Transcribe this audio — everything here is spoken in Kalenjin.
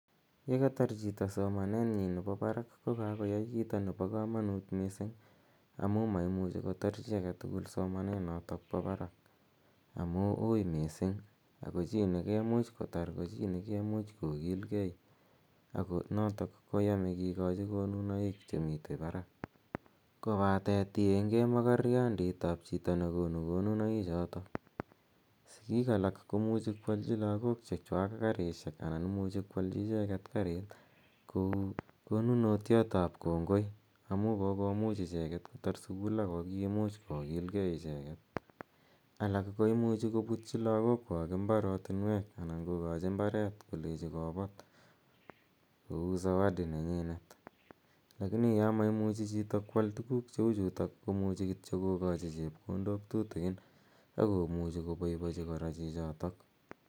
Ye katar chito somanenyi nepo parak ko kakoyai kiito nepo kamanuut missing' amu ma imuchi kotar chi age tugul somananitok po parak amu ui missing', ago chi nekemuch kotar ko chi ne kemuch kokilgei notok koyame kikachi konunoik che mitei parak. Kopate tiengei ak makornandit ap chito ne konu konunoichutok. Sikiik alak komuchi koalchi lagok che chwak karisiek anan imuchi ko alchi icheget kariit kou konunotiot ap kongoi amu kokomuch ichrget kotar sukul ako kiimuch kokilgei icheget. Alak ko imuchi koputchi lakokwak imbarotinweek anan ko kachi mbareet kolechi kopat kou zawadi nenyinet lakini ya maimuchi chito ko al tuguuk che u chutok ko muchi kityo kokachi chepkondok tutikin ako muchi ko pai pachi kora chichotok.